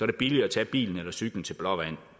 det billigere at tage bilen eller cyklen til blåvand